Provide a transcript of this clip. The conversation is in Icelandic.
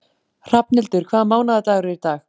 Hrafnhildur, hvaða mánaðardagur er í dag?